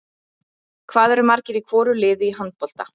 Hvað eru margir í hvoru liði í handbolta?